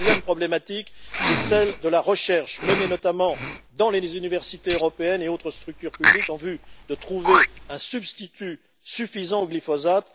Deuxième problématique, c'est celle de la recherche, menée notamment dans les universités européennes et dans d'autres structures publiques, en vue de trouver un substitut suffisant au glyphosate.